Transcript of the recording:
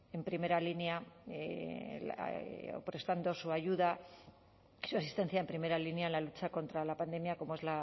en primera línea o prestando su ayuda y si asistencia en primera línea a la lucha contra la pandemia como es